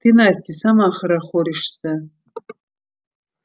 ты настя сама хорохоришься